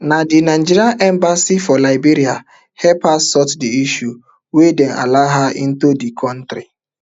na di nigerian embassy for liberia help her sort di issue wen dem allow her into di kontri